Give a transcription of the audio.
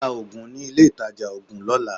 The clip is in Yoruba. Ra oògùn ní ilé ìtajà oògùn lọ́la.